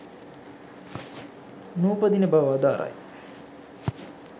නූපදින බව වදාරයි.